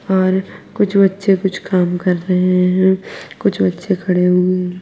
और कुछ बच्चे कुछ काम कर रहे है कुछ बच्चे खड़े हु--